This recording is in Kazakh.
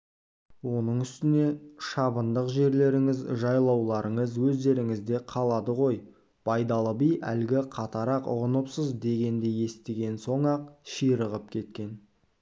оның үстіне шабындық жерлеріңіз жайлауларыңыз өздеріңізде қалады ғой байдалы би әлгі қатарақ ұғыныпсыз дегенді естіген соң-ақ ширығып кеткен